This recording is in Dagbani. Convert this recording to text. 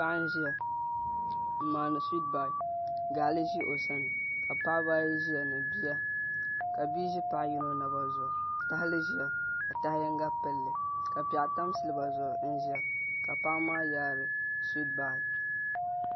Paɣa n ʒiya n maandi suwiiit bar gaɣali ʒi o sani ka paɣaba ayi ʒiya ni bia ka bia ʒi paɣa yino naba zuɣu tahali ʒia ka taha yinga pilli ka piɛɣu tam silba zuɣu n ʒiya ka paɣa maa yaari suwiit bar